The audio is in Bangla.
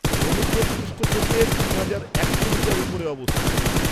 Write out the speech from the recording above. -সমুদ্রপৃষ্ঠ থেকে তিন হাজার একশো মিটার উপরে অবস্থিত।